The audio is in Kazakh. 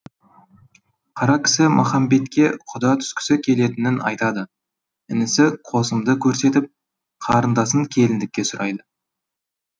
қаракісі махамбетке құда түскісі келетінін айтады інісі қосымды көрсетіп қарындасын келіндікке сұрайды